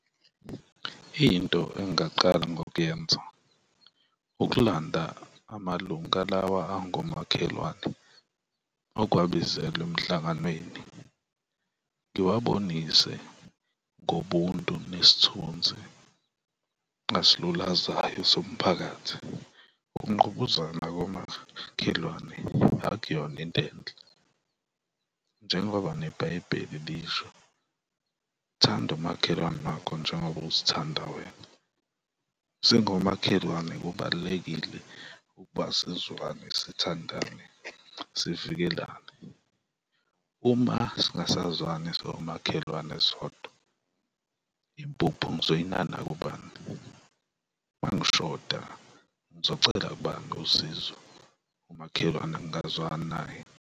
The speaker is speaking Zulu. Into engingaqala ngokuyenza ukulanda amalunga lawa angomakhelwane ukuwabizela emhlanganweni ngiwabonise ngobuntu nesithunzi asilulazayo somphakathi. Ukungqubuzana komakhelwane akuyona into enhle njengoba neBhayibheli lisho, thanda umakhelwane wakho njengoba uzithanda wena, singomakhelwane kubalulekile ukuba sizwane, sithandane, sivikelane. Uma singasazwani singomakhelwane sodwa, impuphu ngizoyinana kubani? Uma ngishoda ngizocela kubantu usizo umakhelwane ngingazwani naye?